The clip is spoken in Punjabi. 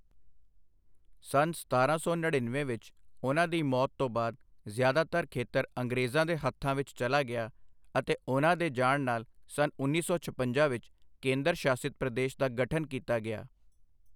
ਸੰਨ ਸਤਾਰਾਂ ਸੌ ਨੜੀਨਵੇਂ ਵਿੱਚ ਉਹਨਾਂ ਦੀ ਮੌਤ ਤੋਂ ਬਾਅਦ ਜ਼ਿਆਦਾਤਰ ਖੇਤਰ ਅੰਗਰੇਜ਼ਾਂ ਦੇ ਹੱਥਾਂ ਵਿੱਚ ਚਲਾ ਗਿਆ ਅਤੇ ਉਹਨਾਂ ਦੇ ਜਾਣ ਨਾਲ ਸੰਨ ਉੱਨੀ ਸੌ ਛਪੰਜਾ ਵਿੱਚ ਕੇਂਦਰ ਸ਼ਾਸਿਤ ਪ੍ਰਦੇਸ਼ ਦਾ ਗਠਨ ਕੀਤਾ ਗਿਆ।